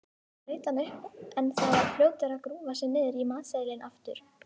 Þá leit hann upp en var fljótur að grúfa sig niður í matseðilinn aftur.